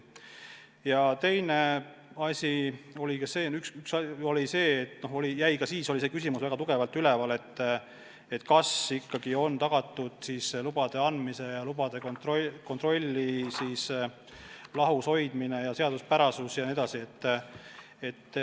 Ja teine asi oli see, et ka siis oli väga tugevalt üleval küsimus, kas ikkagi on tagatud lubade andmise ja lubade kontrolli lahus hoidmine, selle seaduspärasus.